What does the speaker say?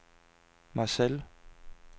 Marseille